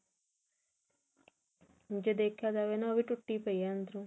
ਜੇ ਦੇਖਿਆ ਜਾਵੇ ਉਹ ਵੀ ਟੁੱਟੀ ਪਈ ਆ ਅੰਦਰੋਂ